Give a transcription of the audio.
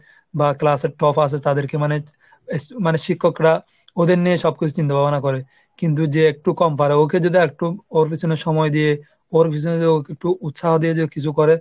বা class এ top আসে তাদেরকে মানে মানে শিক্ষকরা ওদের নিয়েই সব কিছু চিন্তাভাবনা করে। কিন্তু যে একটু কম পারে ওকে যদি আরেকটু ওর পেছনে সময় দিয়ে, ওর পেছনে ওকে একটু উৎসাহ দিয়ে যদি কিছু করে,